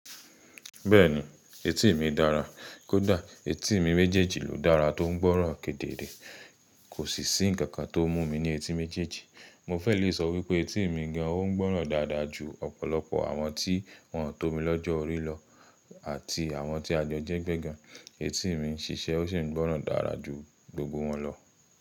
Bẹ́ẹ̀ni, etí mi dára. Kódà etí mi méjèèjì ló dára tó ń gbọ́ro kedere, kò sì sí ǹkan kan tó mú mi ní etí méjèèjì. Mo fẹ́ lè sọ wípé etí mi gan an ó ń gbọ́ràn dáadáa ju ọ̀pọ̀lọpọ̀ àwọn tí wọ́n tó mi lọ́jọ́ orí lọ àti àwọn tí à jo jẹ́gbẹ́ gan. Etí mi ń ṣiṣẹ́ ó sì ń gbọ́ràn dára ju gbogbo wọn lọ.